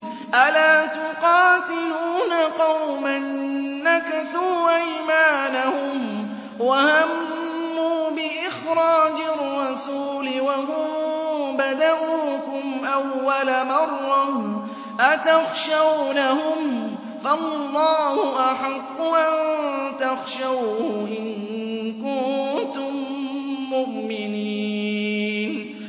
أَلَا تُقَاتِلُونَ قَوْمًا نَّكَثُوا أَيْمَانَهُمْ وَهَمُّوا بِإِخْرَاجِ الرَّسُولِ وَهُم بَدَءُوكُمْ أَوَّلَ مَرَّةٍ ۚ أَتَخْشَوْنَهُمْ ۚ فَاللَّهُ أَحَقُّ أَن تَخْشَوْهُ إِن كُنتُم مُّؤْمِنِينَ